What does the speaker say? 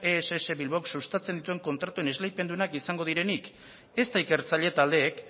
ess bilbaok sustatzen dituen kontratuen esleipen onak izango direnik ezta ikertzaile taldeek